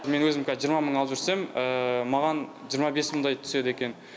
маған жиырма бес мыңдай түседі екен